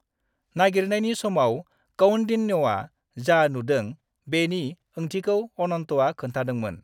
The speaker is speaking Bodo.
नागिरनायनि समाव कौंडिन्यआ जा नुदों, बेनि ओंथिखौ अनन्तआ खोन्थादोंमोन।